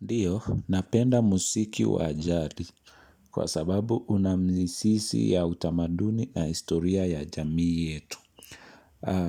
Ndiyo, napenda muziki wajadi kwa sababu unamizizi ya utamaduni na historia ya jamii yetu.